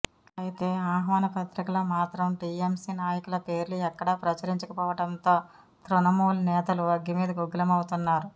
అయితే ఆహ్వాన పత్రికలో మాత్రం టీఎంసీ నాయకుల పేర్లు ఎక్కడా ప్రచురించక పోవడంతో తృణమూల్ నేతలు అగ్గిమీద గుగ్గిలమవుతున్నారు